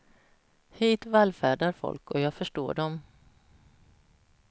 Hit vallfärdar folk och jag förstår dem.